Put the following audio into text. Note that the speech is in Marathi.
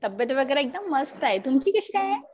तब्येत वगैरे एकदम मस्त आहे. तुमची कशी आहे?